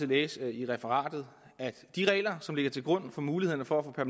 læse i referatet at de regler som ligger til grund for muligheden for at